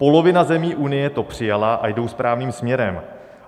Polovina zemí Unie to přijala a jdou správným směrem.